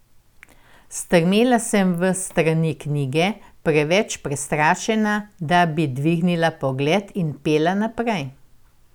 Strmela sem v strani knjige, preveč prestrašena, da bi dvignila pogled, in pela naprej.